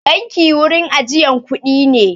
Banki wurin ajiyan kuɗi ne.